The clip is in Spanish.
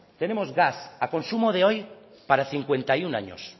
tenemos gas a consumo de hoy para cincuenta y uno años